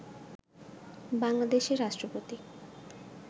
বাংলাদেশের রাষ্ট্রপতি